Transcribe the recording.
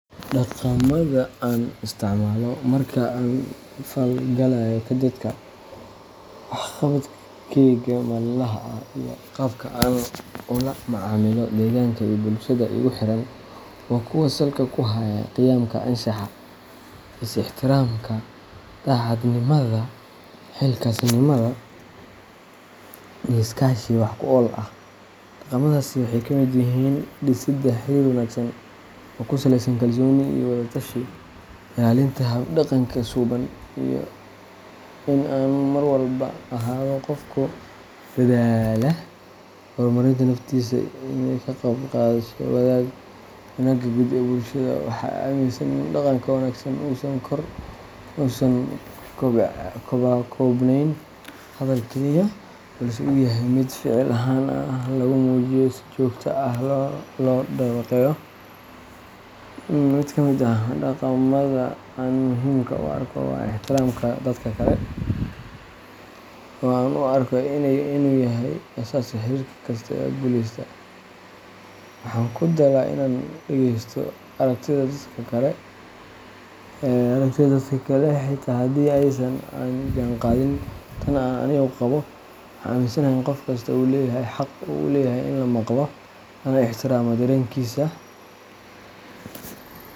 Dhaqamada aan isticmaalo marka aan la falgalayo dadka, wax qabadkayga maalinlaha ah, iyo qaabka aan ula macaamilo deegaanka iyo bulshada igu xeeran waa kuwo salka ku haya qiyamka anshaxa, is-ixtiraamka, daacadnimada, xilkasnimada, iyo iskaashi wax ku ool ah. Dhaqamadaasi waxay ka mid yihiin dhisidda xiriir wanaagsan oo ku saleysan kalsooni iyo wada-tashi, ilaalinta hab-dhaqan suuban, iyo in aan mar walba ahaado qof ku dadaala horumarinta naftiisa iyo ka qayb qaadashada wanaagga guud ee bulshada. Waxaa i aaminsan in dhaqanka wanaagsan uusan ku koobnayn hadal kaliya, balse uu yahay mid ficil ahaan lagu muujiyo, si joogto ahna loo dabaqo. Mid ka mid ah dhaqamada aan muhiim u arko waa ixtiraamka dadka kale, oo aan u arko inuu yahay aasaaska xiriir kasta oo guuleysta. Waxaan ku dadaalaa inaan dhegeysto aragtida dadka kale, xitaa haddii aysan la jaanqaadin tan aan anigu qabo. Waxaan aaminsanahay in qof kasta uu leeyahay xaq uu u leeyahay in la maqlo, lana ixtiraamo dareenkiisa.